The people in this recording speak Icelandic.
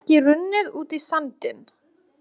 Getur ekki runnið út í sandinn.